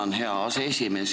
Tänan, hea aseesimees!